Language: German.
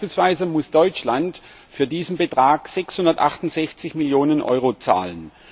Beispielsweise muss Deutschland für diesen Betrag 668 Millionen Euro zahlen.